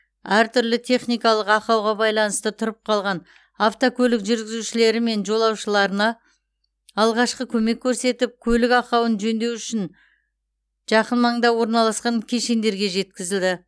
әртүрлі техникалық ақауға байланысты тұрып қалған автокөлік жүргізушілері мен жолаушыларына алғашқы көмек көрсетіп көлік ақауын жөндеу үшін жақын маңда орналасқан кешендерге жеткізілді